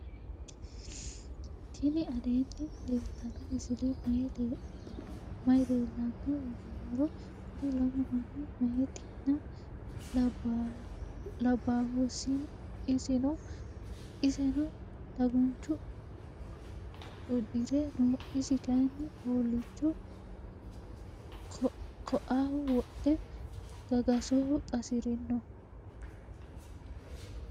tini aleni leltano misileni maayi leelano yinnumoro. kuuri lamu maani mayitena labahoisino iseno daguncho udire noo. isi kayini hoolicho koaho wodhe gagasoho qasirino.